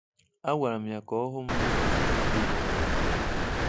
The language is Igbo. Agwara m ya ka ọ hụ m n’ụbọchị Tuzde na-abịa.